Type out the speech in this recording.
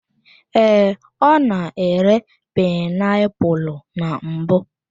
Ee, ọ na-ere painiapulu na mbụ.